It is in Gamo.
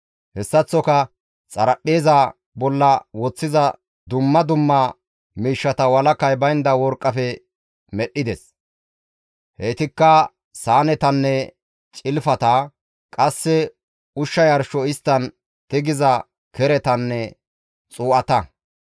Hessaththoka xaraphpheeza bolla woththiza dumma dumma miishshata walakay baynda worqqafe medhdhides; heytikka saanetanne cilfata, qasse ushsha yarsho isttan seerisiza keretanne xuu7ata.